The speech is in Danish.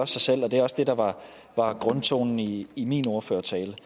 sig selv og det er også det der var var grundtonen i i min ordførertale det